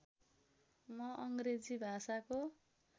म अङ्ग्रेजी भाषाको